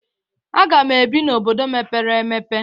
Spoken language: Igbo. Aga m ebi n'Obodo mèpéré èmèpé